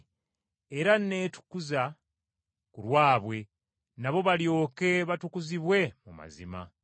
Era neetukuza ku lwabwe nabo balyoke batukuzibwe mu mazima.”